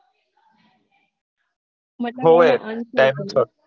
હોયે dinosour